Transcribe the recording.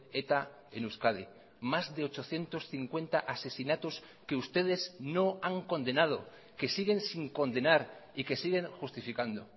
eta en euskadi más de ochocientos cincuenta asesinatos que ustedes no han condenado que siguen sin condenar y que siguen justificando